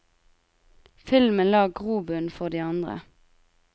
Filmen la grobunnen for de andre.